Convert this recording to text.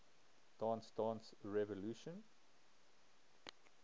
dance dance revolution